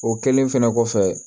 O kɛlen fɛnɛ kɔfɛ